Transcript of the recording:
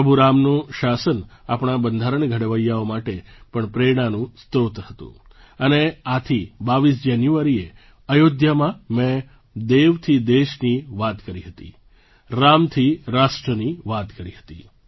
પ્રભુ રામનું શાસન આપણા બંધારણ ઘડવૈયાઓ માટે પણ પ્રેરણાનું સ્રોત હતું અને આથી 22 જાન્યુઆરીએ અયોધ્યામાં મેં દેવથી દેશની વાત કરી હતી રામથી રાષ્ટ્રની વાત કરી હતી